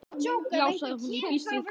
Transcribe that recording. Já sagði hún, ég býst við því